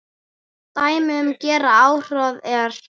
Dæmi um gera afhroð er